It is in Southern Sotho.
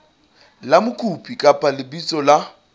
la mokopi kapa lebitso la